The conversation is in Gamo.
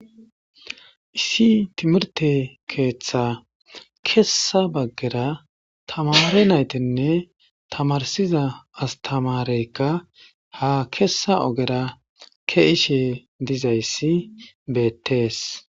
Issi Timirte keththass kessa bagara tamere nyttinne astmareyikka ha kesa ogera besishshe dizayissa bettes